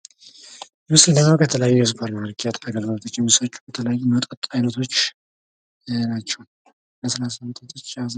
ምስሉ እንደሚያመላክተው የተለያዩ የሱፐር ማርኬት አገልግሎት የሚሰጡ የመጥጥ አይነቶች ናቸው።